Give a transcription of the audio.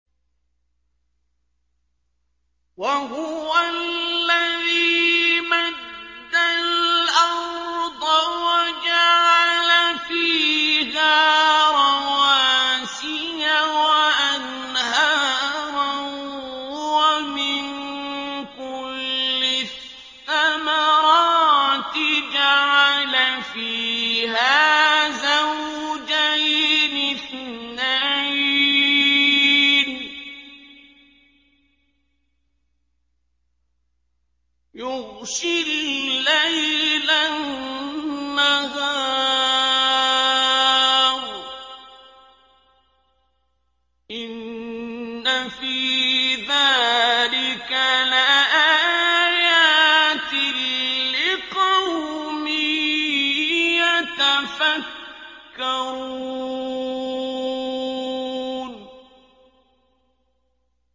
وَهُوَ الَّذِي مَدَّ الْأَرْضَ وَجَعَلَ فِيهَا رَوَاسِيَ وَأَنْهَارًا ۖ وَمِن كُلِّ الثَّمَرَاتِ جَعَلَ فِيهَا زَوْجَيْنِ اثْنَيْنِ ۖ يُغْشِي اللَّيْلَ النَّهَارَ ۚ إِنَّ فِي ذَٰلِكَ لَآيَاتٍ لِّقَوْمٍ يَتَفَكَّرُونَ